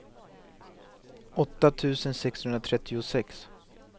åtta tusen sexhundratrettiosex